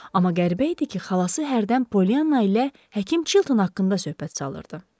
Amma qəribə idi ki, xalası hərdən Polyanna ilə həkim Chilton haqqında söhbət çalırdı.